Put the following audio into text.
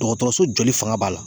Dɔgɔtɔrɔso jɔli fanga b'a la